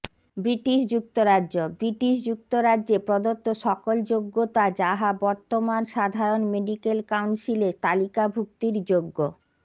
British যুক্তরাজ্য British যুক্তরাজ্যে প্রদত্ত সকল যোগ্যতা যাহা বর্তমান সাধারন মেডিকেল কাউন্সিলে তালিকাভূক্তির যোগ্য